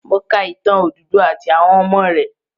Mo ka ìtàn Odùduwà àti àwọn ọmọ rẹ̀.